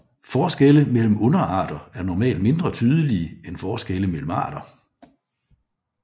Forskelle mellem underarter er normalt mindre tydelige end forskelle mellem arter